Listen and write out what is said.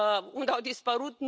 Unde au dispărut?